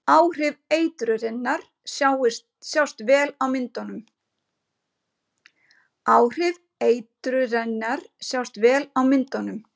Áhrif eitrunarinnar sjást vel á myndunum.